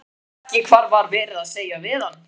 Skildi ekki hvað var verið að segja við hann.